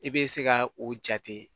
I bɛ se ka o jate